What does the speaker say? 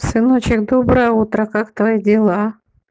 сыночек доброе утро как твои дела